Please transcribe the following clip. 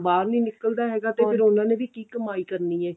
ਬਾਹਰ ਨੀ ਨਿਕਲਦਾ ਹੈਗਾ ਤੇ ਫੇਰ ਉਹਨਾ ਨੇ ਵੀ ਕੀ ਕਮਾਈ ਕਰਨੀ ਏ